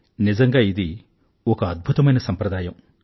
నిజంగా ఇది ఒక అద్భుతమైన సంప్రదాయం